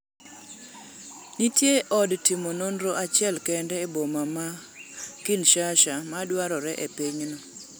nitie od timo nonro achiel kende e boma ma kinshasha ma dwarore epinyno